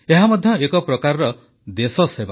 ଏହା ମଧ୍ୟ ଏକ ପ୍ରକାର ଦେଶସେବା